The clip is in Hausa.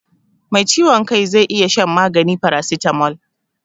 Mai ciwon kai zai iya shan magani farasitamol.